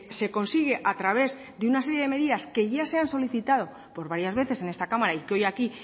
se consigue a través de una serie de medidas que ya se han solicitado por varias veces en esta cámara y que hoy aquí